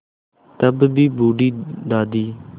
तब भी बूढ़ी दादी